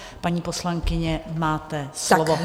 Paní poslankyně, máte slovo.